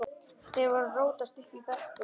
Þeir voru að rótast uppi í brekkum.